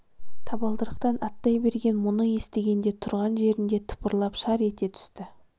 табалдырықтан аттай берген мұны естігенде тұрған жерінде тыпырлап шар ете түсті